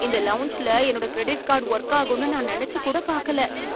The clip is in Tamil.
இந்த லவுஞ்ல என்னுடைய கிரெடிட் கார்டு ஒர்க் ஆகும்னு நான் நெனச்சு கூட பாக்கல.